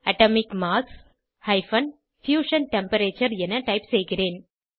atomic mass - fusion temperature என type செய்கிறேன்